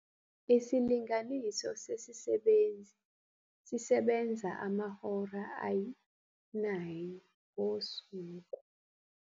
Isilinganiso sesibenzi esisebenza amahora ayi-9 ngosuku